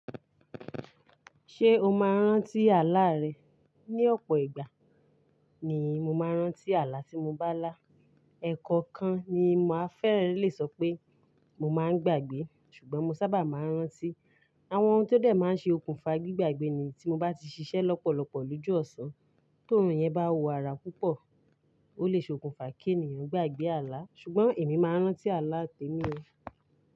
Ṣé o máa ń rántí àlá rẹ? Ni ọ̀pọ̀ ìgbà ni mo máa ń rántí àlá tí mo bá lá. Ẹ̀kọ̀okan ni màá fẹ́rẹ́ lè sọ pé mo máa ń gbàgbé, ṣùgbọ́n mo sábà máa ń rántí àwọn ohun tó dẹ̀ máa ń ṣe okùnfà gbigbagbẹ ni tí mo bá ti ṣiṣẹ́ lọ́pọ̀lọpọ̀ lójú ọ̀sán, ti ọ̀rùn yẹn bá wo ara púpọ̀. Ó lè ṣe okùnfà kí ènìyàn gbàgbé àlá, ṣùgbọ́n èmi máa ń rántí àlá tẹ mí ó.